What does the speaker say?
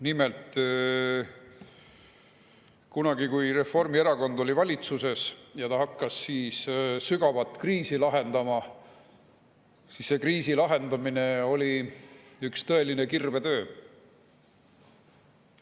Nimelt, kunagi, kui Reformierakond oli valitsuses ja hakkas sügavat kriisi lahendama, siis oli see kriisi lahendamine üks tõeline kirvetöö.